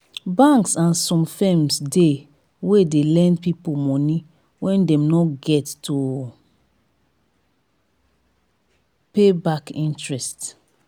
banks and some firms de wey de lend pipo moni wen dem no get to pay back with interest